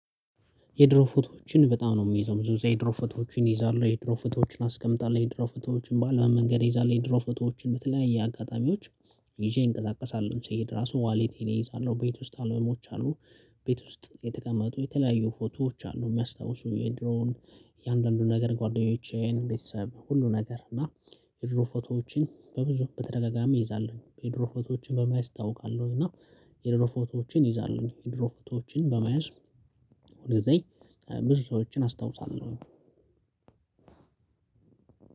የድሮ ፎቶዎችን በጣም ነው የሚይዘው ብዙ የድሮ ፎቶዎችን እይዛለሁ የድሮ ፎቶዎችን አስቀምጣለሁ የድሮ ፎቶዎችን በአለው መንገድ እይዛለሁ የድሮ ፎቶዎችን በተለያየ አጋጣሚዎች። ይዤ እንቀሳቀሳለሁ ስሄድ ራሱ ዋሌቴን እይዛለሁ ቤት ውስጥ አልበሞች አሉ። ቤት ውስጥ የተቀመጡ የተለያዩ ፎቶዎች አሉ የሚያስታውሱ የድሮውን። የአንዳንዱ ነገር ጓደኞቼን ቤተሰብ ሁሉ ነገር እና። የድሮ ፎቶዎችን በብዙ በተደጋጋሚ እይዛለሁኝ የድሮ ፎቶዎችን በማያዝ እታውቃለሁ እና። የድሮ ፎቶዎችን እይዛለሁ የድሮ ፎቶዎችን በማየት ወደዚህ ብዙ ሰዎችን አስታውሳለሁ።